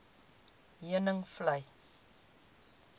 heuningvlei